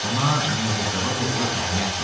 Buna Mirzə Cavad oğlu Əhməd deyərlər.